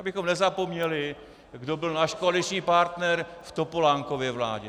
Abychom nezapomněli, kdo byl náš koaliční partner v Topolánkově vládě.